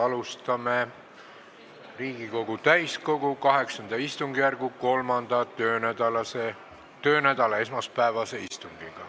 Alustame Riigikogu täiskogu VIII istungjärgu 3. töönädala esmaspäevast istungit.